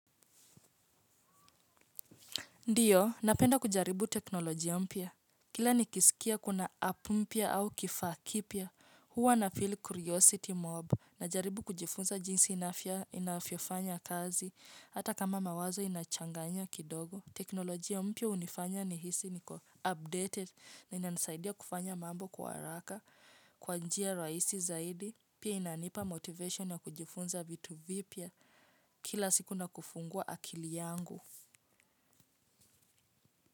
Ndiyo, napenda kujaribu teknolojia mpya. Kila nikisikia kuna a mpya au kifaa kipya, huwa na feel curiosity mob najaribu kujifunza jinsi inafyofanya kazi, hata kama mawazo inachanganya kidogo. Teknolojia mpya unifanya nihisi niko updated na inanasaidia kufanya mambo kwa haraka, kwa njia rahisi zaidi, pia inanipa motivation na kujifunza vitu vipya kila siku na kufungua akili yangu.